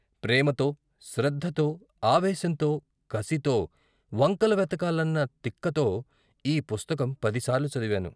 ప్రేమతో, శ్రద్ధతో, ఆవేశంతో, కసితో, వంకలు వెతకాలన్న తిక్కతో ఈ పుస్తకం పదిసార్లు చదివాను.